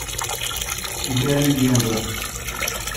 я легенда